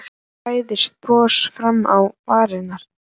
Svo færðist bros fram á varirnar.